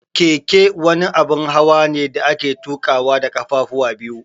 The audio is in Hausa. Keke wani abun hawane da ake tuƙawa da kafafuwa biyu.